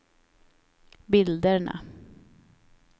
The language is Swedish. bilderna